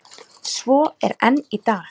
Svo er enn í dag.